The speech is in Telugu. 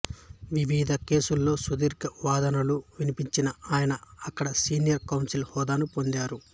వివిధ కేసుల్లో సుదీర్ఘ వాదనలు వినిపించిన ఆయన అక్కడ సీనియర్ కౌన్సిల్ హోదాను పొందారు